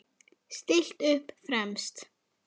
Stillt upp fremst.